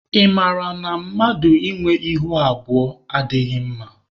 Ị mara na mmadụ ị nwe ihu abụọ adịghị mama?